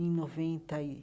em noventa e